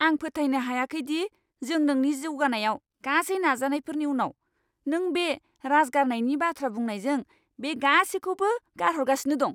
आं फोथायनो हायाखै दि जों नोंनि जौगानायाव गासै नाजानायफोरनि उनाव, नों बे राजगारनायनि बाथ्रा बुंनायजों बे गासिखौबो गारहरगासिनो दं!